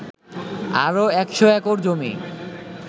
আরও ১০০ একর জমি